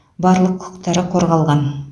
барлық құқықтар қорғалған